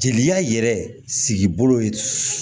Jeliya yɛrɛ sigi bolo